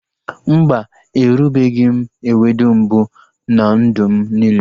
Mba, erubeghị m ewedu mbụ na ndụ m niile